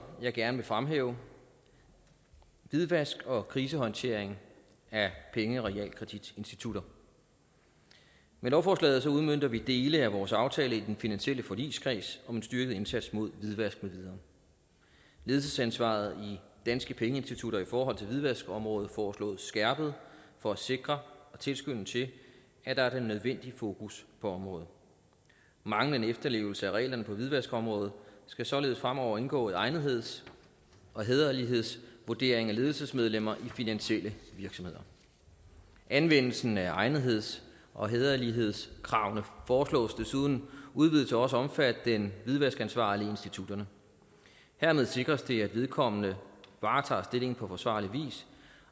jeg gerne vil fremhæve hvidvask og krisehåndtering af penge og realkreditinstitutter med lovforslaget udmønter vi dele af vores aftale i den finansielle forligskreds om en styrket indsats mod hvidvask med videre ledelsesansvaret i danske pengeinstitutter i forhold til hvidvaskområdet foreslås skærpet for at sikre og tilskynde til at der er den nødvendige fokus på området manglende efterlevelse af reglerne på hvidvaskområdet skal således fremover indgå i egnetheds og hæderlighedsvurdering af ledelsesmedlemmer i finansielle virksomheder anvendelsen af egnetheds og hæderlighedskravene foreslås desuden udvidet til også at omfatte den hvidvaskansvarlige i institutterne hermed sikres det at vedkommende varetager stillingen på forsvarlig vis